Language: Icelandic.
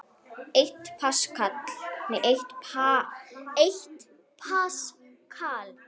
Eitt paskal